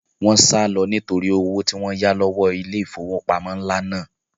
Wọ́n sálọ nítorí owó tí wọ́n yá lọ́wọ́ ilé ìfowópamọ́ ńlá náà